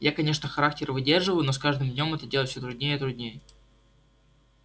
я конечно характер выдерживаю но с каждым днём это делать всё труднее и труднее